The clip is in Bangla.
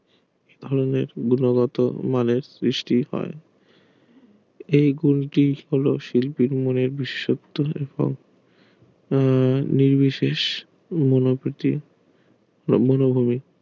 ধরণের গুণগত মানের সৃষ্টি হয় এই গুঁটি হলো শিল্পীর মনে বিসশক্ত তুলে আহ নির্বিশেষে মনোভুতি